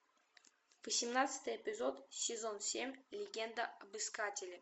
восемнадцатый эпизод сезон семь легенда об искателе